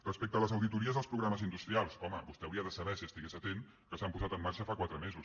respecte a les auditories als programes industrials home vostè hauria de saber si estigués atent que s’han posat en marxa fa quatre mesos